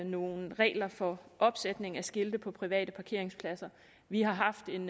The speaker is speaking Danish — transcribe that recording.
nogle regler for opsætning af skilte på private parkeringspladser vi har haft en